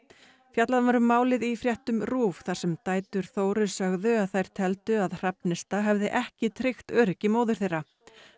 fjallað var um málið í fréttum RÚV þar sem dætur Þóru sögðu að þær teldu að Hrafnista hefði ekki tryggt öryggi móður þeirra